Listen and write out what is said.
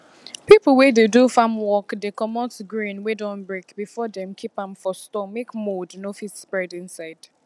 people wey dey do farm work dey comot grain wey don break before dem keep am for store make mould no fit spread inside